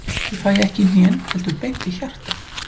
Ég fæ ekki í hnén, heldur beint í hjartað.